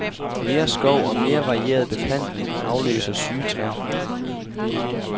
Mere skov og mere varieret beplantning afløser syge træer.